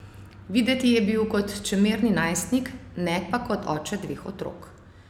Videti je bil kot čemerni najstnik, ne pa kot oče dveh otrok.